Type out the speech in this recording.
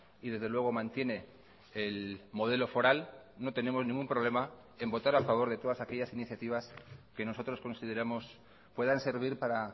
y desde luego mantiene el modelo foral no tenemos ningún problema en votar a favor de todas aquellas iniciativas que nosotros consideramos puedan servir para